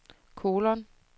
kolon